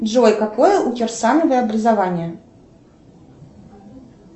джой какое у кирсановой образование